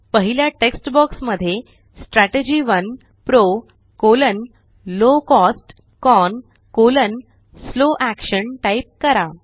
पहिल्या text box मध्ये strategy 1 PRO low cost CON slow action type करा